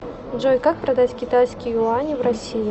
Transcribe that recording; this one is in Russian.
джой как продать китайские юани в россии